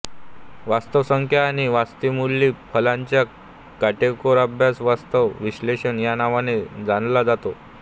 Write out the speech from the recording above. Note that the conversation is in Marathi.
वास्तव संख्या आणि आणि वास्तवमूल्यी फलनांचा काटेकोर अभ्यास वास्तव विश्लेषण या नावाने जाणल्या जाते